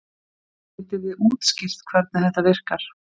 Getið þið útskýrt hvernig þetta virkar?